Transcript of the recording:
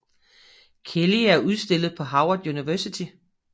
Kelly er udstillet på Howard University